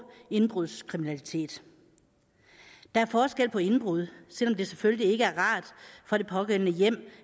indbrudskriminalitet der er forskel på indbrud selv om det selvfølgelig ikke er rart for det pågældende hjem